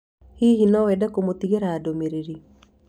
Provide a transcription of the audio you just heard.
Hihi no wende kũmũtigĩra ndũmĩrĩri?